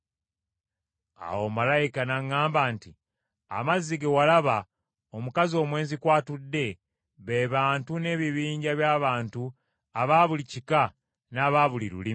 Awo malayika n’aŋŋamba nti, “Amazzi ge walaba omukazi omwenzi kw’atudde, be bantu n’ebibinja by’abantu aba buli kika n’aba buli lulimi.